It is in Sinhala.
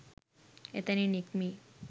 එතැනින් නික්මී